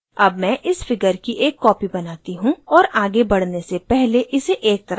अब मैं इस figure की एक copy बनाती हूँ और आगे बढ़ने से पहले इसे एक तरफ रखती हूँ